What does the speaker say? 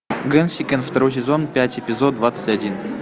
гэнсикэн второй сезон пять эпизод двадцать один